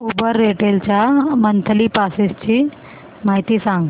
Uber rental च्या monthly passes ची माहिती सांग